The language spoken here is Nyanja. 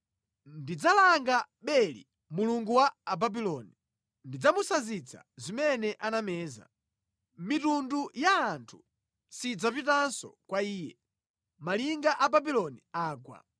Ndidzalanga Beli mulungu wa Ababuloni, ndidzamusanzitsa zimene anameza. Mitundu ya anthu sidzapitanso kwa iye. Malinga a Babuloni agwa.